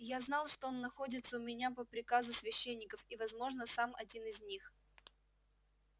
я знал что он находится у меня по приказу священников и возможно сам один из них